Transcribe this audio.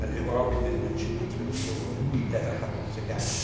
Our commitment should be to ensure it never happens again.